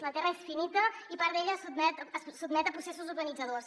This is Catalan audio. la terra és finita i part d’ella es sotmet a processos urbanitzadors